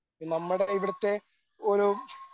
നമ്മുടെ ഇവിടുത്തെ ഓരോ